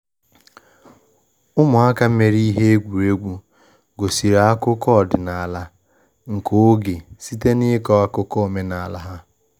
Ụmụaka mere ihe egwuregwu gosiri akụkọ ọdịnala nke oge site n’ịkọ akụkọ omenala ha.